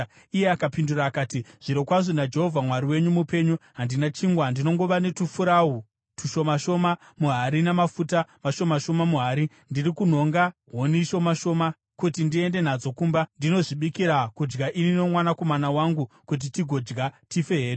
Iye akapindura akati, “Zvirokwazvo naJehovha Mwari wenyu mupenyu, handina chingwa. Ndinongova netufurawu tushoma shoma muhari namafuta mashoma shoma muhari. Ndiri kunhonga huni shoma shoma kuti ndiende nadzo kumba ndinozvibikira kudya ini nomwanakomana wangu, kuti tigodya, tife hedu.”